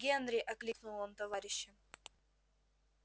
генри окликнул он товарища